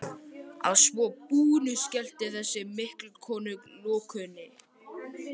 Að svo búnu skellti þessi mikla kona lokunni.